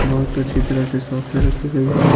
बहुत अच्छी तरह से शॉप पे रखी गई है।